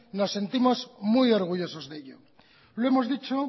nos sentimos muy orgullosos de ello lo hemos dicho